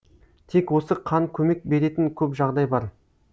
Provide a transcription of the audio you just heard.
тек осы қан көмек беретін көп жағдай бар